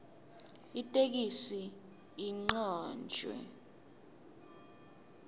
itheksthi icanjwe